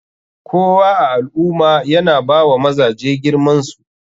Kowa a alummah yana bawa mazaje girmansu.